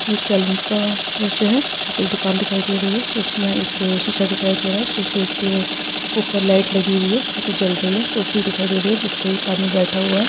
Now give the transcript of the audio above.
एक सैलून का दृश्य है यहाँ पे एक दुकान दिखाई दे रही है जिस में एक शीशा दिखाई दे रहा है शीशे के ऊपर लाइट लगी हुई है जोकि जल रही है कुर्सी दिखाई दे रही है जिस पे एक आदमी बैठा हुआ है।